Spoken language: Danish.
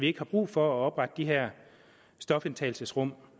ikke har brug for at oprette de her stofindtagelsesrum